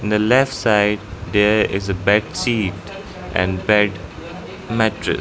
In the left side there is a bed sheet and bed mattre --